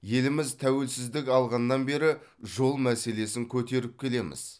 еліміз тәуелсіздік алғаннан бері жол мәселесін көтеріп келеміз